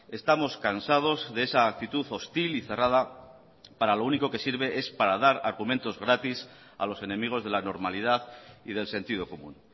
estamos cansados de esa actitud hostil y cerrada que para lo único que sirve es para dar argumentos gratis a los enemigos de la normalidad y del sentido común